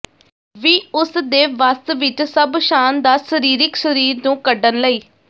ਵੀ ਉਸ ਦੇ ਵੱਸ ਵਿਚ ਸਭ ਸ਼ਾਨਦਾਰ ਸਰੀਰਿਕ ਸਰੀਰ ਨੂੰ ਕੱਢਣ ਲਈ